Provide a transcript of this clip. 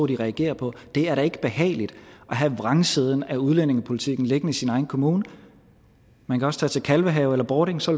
de reagerer på det er da ikke behageligt at have vrangsiden af udlændingepolitikken liggende i sin egen kommune man kan også tage til kalvehave eller bording så